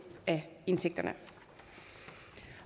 af indtægterne